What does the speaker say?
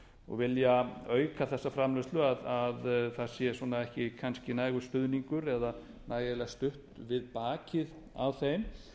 og vilja auka þessa framleiðslu það sé ekki nægur stuðningur eða nægilega stutt við bakið á þeim